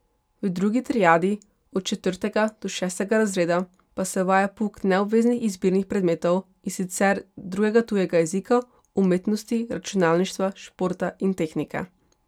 V drugi triadi, od četrtega do šestega razreda, pa se uvaja pouk neobveznih izbirnih predmetov, in sicer drugega tujega jezika, umetnosti, računalništva, športa in tehnike.